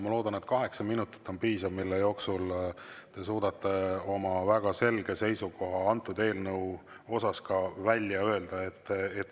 Ma loodan, et kaheksa minutit on piisav, mille jooksul te suudate oma väga selge seisukoha eelnõu kohta välja öelda.